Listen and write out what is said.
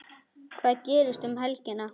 Hvað gerist um helgina?